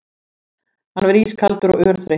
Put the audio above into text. Hann var ískaldur og örþreyttur.